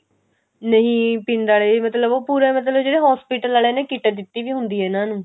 ਨਹੀਂ ਪਿੰਡ ਆਲੇ ਮਤਲਬ ਉਹ ਪੂਰਾ ਮਤਲਬ ਜਿਹੜੇ hospital ਆਲੇ ਨੇ kit ਦਿੱਤੀ ਹੋਈ ਹੁੰਦੀ ਆ ਇਹਨਾਂ ਨੂੰ